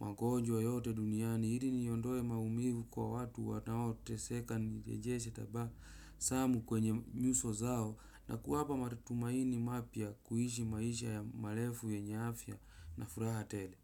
magonjwa yote duniani ili niondoe maumivu kwa watu wanaoteseka nirejeshe taba samu kwenye nyuso zao na kuwapa matumaini mapya kuishi maisha ya marefu yenye afya na furaha tele.